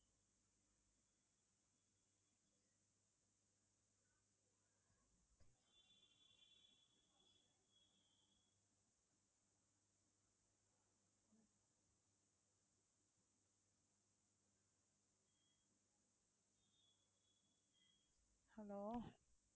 hello